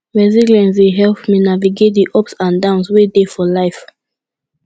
resilience dey help me navigate di ups and downs wey dey for life